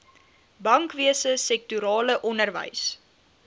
bankwese sektorale onderwys